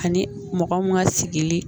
Ani mɔgɔ mun ka sigili.